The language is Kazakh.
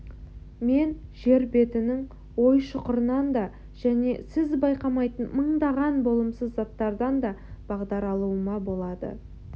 мен жер бетінің ой-шұқырынан да және сіз байқамайтын мыңдаған болымсыз заттардан да бағдар алуыма болады